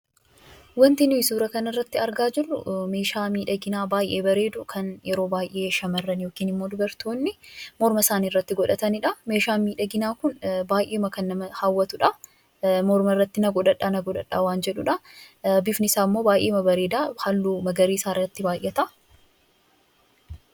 Wanti nuti suuraa kanarratti arginu meeshaa miidhaginaa baay'ee bareedu kan yeroo baay'ee shamarran yookaan dubartoonni yeroo baay'ee morna isaanii irratti godhatanidha. Meeshaan miidhaginaa kun baay'ee kan nama hawwatudha. Mormarratti na godhadhaa, na godhadhaa kan jedhuudha. Bifni isaammoo baay'ee bareeda, halluu magariisaa irratti baay'ata.